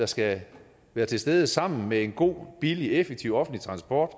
skal være til stede sammen med en god billig effektiv offentlig transport